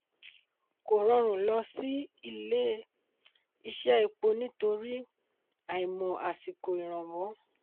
kò rọrùn lọ sí ilé-ìṣé epo nítorí àìmọ̀ àsìkò ìrànwọ́.